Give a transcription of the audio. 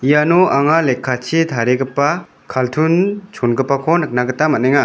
iano anga lekkachi tarigipa kaltun chongipako nikna gita man·enga.